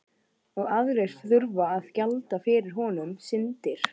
Og aðrir þurfa að gjalda fyrir okkar syndir.